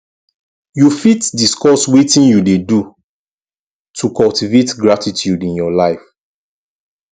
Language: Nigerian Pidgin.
you fit discuss wetin you dey do to cultivate gratitude in your life